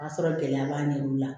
O y'a sɔrɔ gɛlɛya b'an ɲɛ olu la